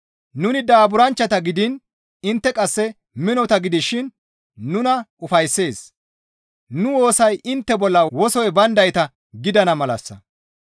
Nuni daaburanchchata gidiin intte qasse minota gidishin nuna ufayssees; nu woosay intte bolla wosoy bayndayta gidana malassa.